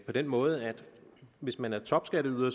den måde at hvis man er topskatteyder